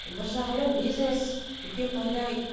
бір жағынан бизнес үлкен пайда